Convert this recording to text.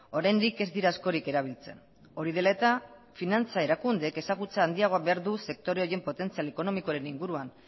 oraindik ez dira askorik erabiltzen hori dela eta finantza erakundeek ezagutza handiagoa behar du sektore horien potentzial ekonomikoaren inguruan